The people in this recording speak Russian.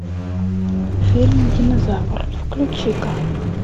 фильм динозавр включи ка